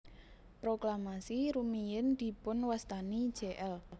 Proklamasi rumiyin dipunwastani Jl